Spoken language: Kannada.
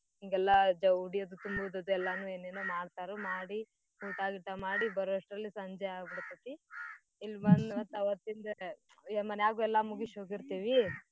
ಹಿಂಗೆಲ್ಲಾ ಉಡಿ ಅದು ತುಂಬೂದದೆಲ್ಲಾನೂ ಏನೇನೋ ಮಾಡ್ತಾರು ಮಾಡಿ ಊಟಾ ಗೀಟಾ ಮಾಡಿ ಬರೋಷ್ಟ್ರಲ್ಲಿ ಸಂಜೆ ಆಬಿಡ್ತೇತಿ. ಇಲ್ ಬಂದ್ ಮತ್ ಅವತ್ತಿಂದ ಯ್~ ಮನ್ಯಾಗೂ ಎಲ್ಲಾ ಮುಗುಶ್ ಹೋಗಿರ್ತೇವಿ.